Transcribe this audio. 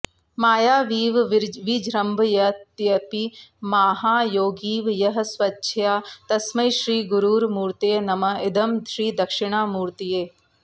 मायावीव विजृम्भयत्यपि महायोगीव यः स्वेच्छया तस्मै श्रीगुरुमूर्तये नम इदं श्रीदक्षिणामूर्तये